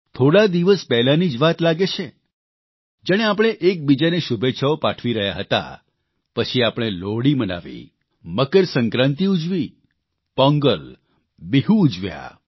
થોડા દિવસ પહેલાની જ વાત લાગે છે જાણે આપણે એકબીજાને શુભેચ્છાઓ પાઠવી રહ્યા હતા પછી આપણે લોહડી મનાવી મકરસંક્રાંતિ ઉજવી પોંગલ બીહુ ઉજવ્યા